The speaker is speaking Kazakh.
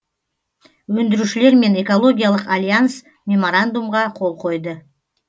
өндірушілер мен экологиялық альянс меморандумға қол қойды